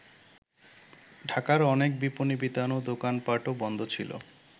ঢাকার অনেক বিপনী বিতান ও দোকানপাটও বন্ধ ছিল।